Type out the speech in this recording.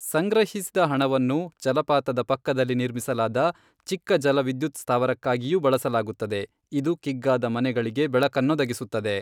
ಸಂಗ್ರಹಿಸಿದ ಹಣವನ್ನು ಜಲಪಾತದ ಪಕ್ಕದಲ್ಲಿ ನಿರ್ಮಿಸಲಾದ ಚಿಕ್ಕ ಜಲ ವಿದ್ಯುತ್ ಸ್ಥಾವರಕ್ಕಾಗಿಯೂ ಬಳಸಲಾಗುತ್ತದೆ ಇದು ಕಿಗ್ಗಾದ ಮನೆಗಳಿಗೆ ಬೆಳಕನ್ನೊದಗಿಸುತ್ತದೆ.